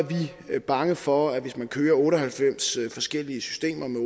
vi bange for at hvis man kører otte og halvfems forskellige systemer med